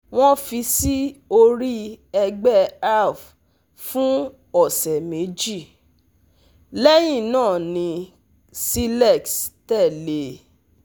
Wọ́n fi sí orí ẹ̀gbẹ́ Alp fún ọ̀sẹ̀ méjì, lẹ́yìn náà ni cilex tẹ̀lé e